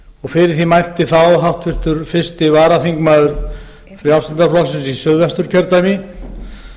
og fyrir því mælti þá háttvirtur fyrsti varaþingmaður frjálslynda flokksins í suðvesturkjördæmi